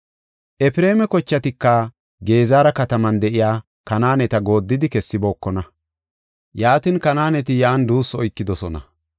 Efreema kochatika Gezera kataman de7iya Kanaaneta gooddidi kessibookona; yaatin, Kanaaneti yan entara de7idosona.